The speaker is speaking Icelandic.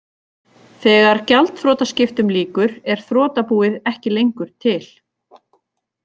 Þegar gjaldþrotaskiptum lýkur er þrotabúið ekki lengur til.